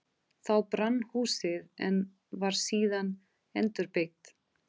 Þá brann húsið, en var síðan endurbyggt.